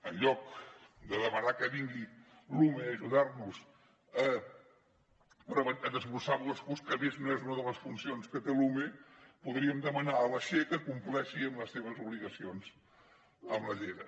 en lloc de demanar que vingui l’ume a ajudar nos a desbrossar boscos que a més no és una de les funcions que té l’ume podríem demanar a la che que compleixi amb les seves obligacions amb la llera